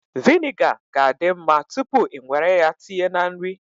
Viniga ga-adi mma tupu i nwere ya tinye na nri